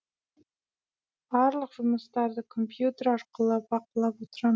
барлық жұмыстарды компьютер арқылы бақылап отырам